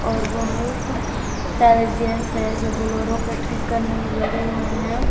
और बहुत सारे जेंट्स हैं जो बोलेरो को ठीक करने में लगे हुए हैं।